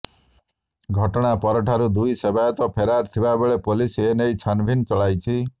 ଘଟଣାପରଠାରୁ ଦୁଇ ସେବାୟତ ଫେରାର ଥିବାବେଳେ ପୋଲିସ ଏନେଇ ଛାନଭିନ ଚଳାଇଛି